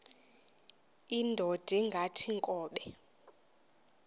indod ingaty iinkobe